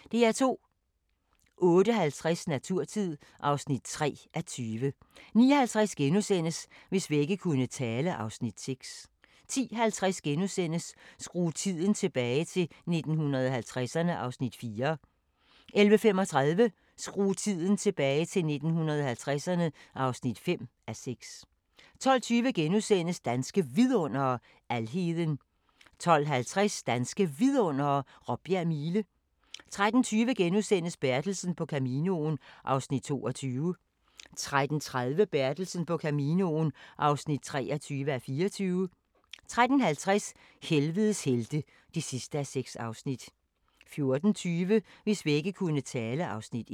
08:50: Naturtid (3:20) 09:50: Hvis vægge kunne tale (Afs. 6)* 10:50: Skru tiden tilbage – til 1950'erne (4:6)* 11:35: Skru tiden tilbage – til 1950'erne (5:6) 12:20: Danske Vidundere: Alheden * 12:50: Danske Vidundere: Råbjerg Mile 13:20: Bertelsen på Caminoen (22:24)* 13:30: Bertelsen på Caminoen (23:24) 13:50: Helvedes helte (6:6) 14:20: Hvis vægge kunne tale (Afs. 1)